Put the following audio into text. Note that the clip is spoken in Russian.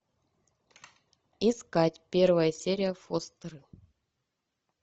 искать первая серия фостер